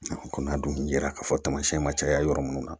Kɔni a dun ye ra k'a fɔ tamasiyɛn ma caya yɔrɔ minnu na